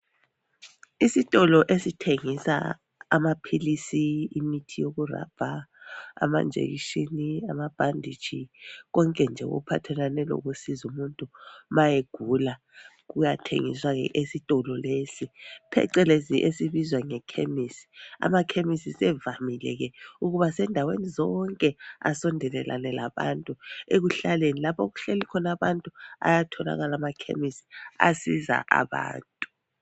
Isitolo esithengisa amaphilisi imithi yokurubber amanjekishini amabhanditshi konke nje okuphathelane lokusiza umuntu ma egula kuyathengiswa ke esitolo lesi phecelezi esibizwa ngekhemisi . Amakhemisi sisevamile ke ukubasendaweni zonke asondelelane labantu ekuhlaleni, lapho okuhleli khona abantu ayatholakala amakhemisi asiza abantu.